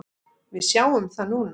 Við sjáum það núna.